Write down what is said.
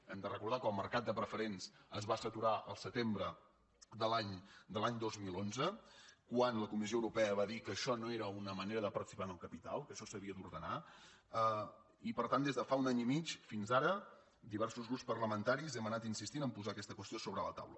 hem de recordar que el mercat de preferents es va saturar al setembre de l’any dos mil onze quan la comissió europea va dir que ai·xò no era una manera de participar en el capital que això s’havia d’ordenar i per tant des de fa un any i mig fins ara diversos grups parlamentaris hem anat insistint a posar aquesta qüestió sobre la taula